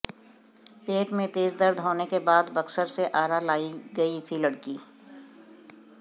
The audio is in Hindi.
पेट में तेज दर्द होने के बाद बक्सर से आरा लायी गई थी लड़की